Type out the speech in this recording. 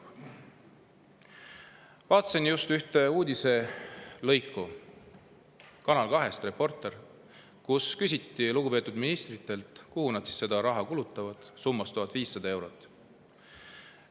Vaatasin ühte uudislõiku Kanal 2 "Reporteris", kus küsiti lugupeetud ministritelt, kuhu nad seda raha – summas 1500 eurot – kulutavad.